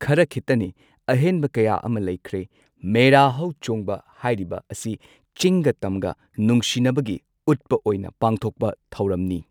ꯈꯔ ꯈꯤꯠꯇꯅꯤ ꯑꯍꯦꯟꯕ ꯀꯌꯥ ꯑꯃ ꯂꯩꯈ꯭ꯔꯦ ꯃꯦꯔꯥ ꯍꯧꯆꯣꯡꯕ ꯍꯥꯏꯔꯤꯕ ꯑꯁꯤ ꯆꯤꯡꯒ ꯇꯝꯒ ꯅꯨꯡꯁꯤꯟꯅꯕꯒꯤ ꯎꯠꯄ ꯑꯣꯏꯅ ꯄꯥꯡꯊꯣꯛꯄ ꯊꯧꯔꯝꯅꯤ